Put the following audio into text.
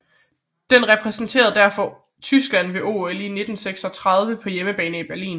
Den repræsenterede derfor Tyskland ved OL 1936 på hjemmebane i Berlin